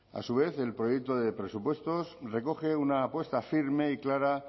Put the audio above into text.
a su vez el proyecto de presupuestos recoge una apuesta firme y clara